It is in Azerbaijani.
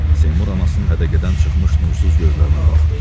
Seymur anasının hədəqədən çıxmış nursuz gözlərinə baxdı.